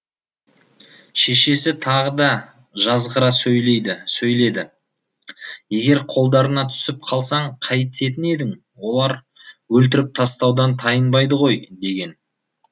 шешесі тағы да жазғыра сөйледі егер қолдарына түсіп қалсаң қайтетін едің олар өлтіріп тастаудан тайынбайды ғой деген